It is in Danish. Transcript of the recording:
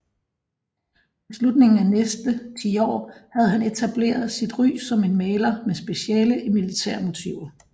Ved slutningen af næste tiår havde han etablere sit ry som en maler med speciale i militærmotiver